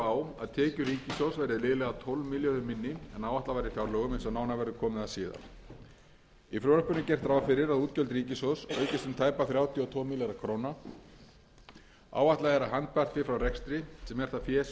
á að tekjur ríkissjóðs verði liðlega tólf milljörðum minni en áætlað var í fjárlögum eins og nánar verður komið að síðar í frumvarpinu er gert ráð fyrir að útgjöld ríkissjóðs aukist um tæpa þrjátíu og tvo milljarða króna áætlað er að handbært fé frá rekstri sem er það fé